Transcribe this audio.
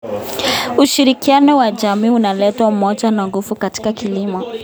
Ushirikiano wa jamii unaleta umoja na nguvu katika kilimo.